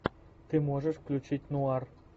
ты можешь включить нуар